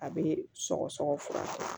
A bɛ sɔgɔsɔgɔ fura kɛ